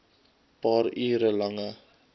paar uur lange